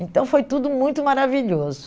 Então, foi tudo muito maravilhoso.